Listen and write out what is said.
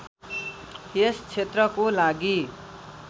यस क्षेत्रको लागि